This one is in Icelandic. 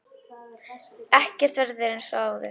Ekkert verður eins og áður.